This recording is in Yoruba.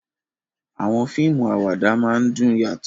Àwọn fíìmù àwàdà máa ń dùn yàtọ̀